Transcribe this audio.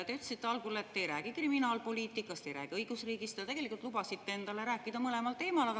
Te ütlesite algul, et te ei räägi kriminaalpoliitikast, ei räägi õigusriigist, aga tegelikult lubasite endale rääkida mõlemal teemal.